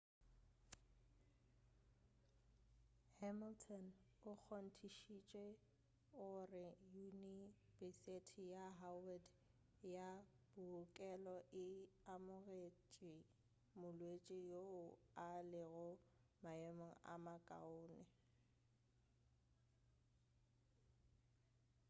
hamilton o kgontišišitše gore yunibesiti ya howard ya bookelo e amogetše molwetši yoo a lego maemong a makaone